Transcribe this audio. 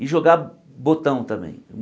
E jogar botão também.